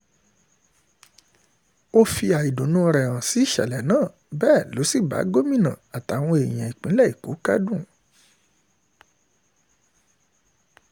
ó fi àìdùnnú rẹ̀ hàn sí ìṣẹ̀lẹ̀ náà bẹ́ẹ̀ ló sì bá gómìnà àtàwọn èèyàn ìpínlẹ̀ èkó kẹ́dùn